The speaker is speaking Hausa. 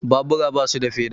Babura basu da feda